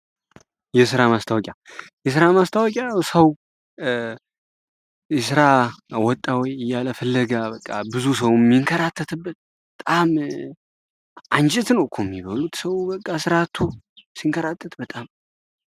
የሥራ ማስታወቂያ ው ሥራ ወጣዊይ እያለፈለጋ በቃ ብዙ ሰው ሚንከራተት በጣም አንጅትን ዕኩ የሚበሉት ሰው በቃ ሥራዓቱ ሲንከራተት በጣም